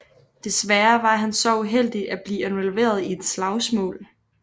Desværre var han så uheldig at blive involveret i et slagsmål